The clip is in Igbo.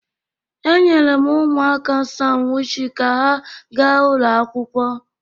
E nyerem ụmụaka m sanwịchị ka ha ga ụlọ akwụkwọ.